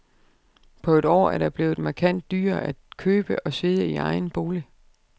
På et år er det blevet markant dyrere at købe og sidde i egen bolig.